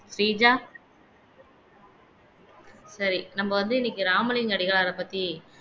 ஸ்ரீஜா சரி நம்ம வந்து இன்னைக்கு ராமலிங்கம் அடிகளாரைப் பத்தி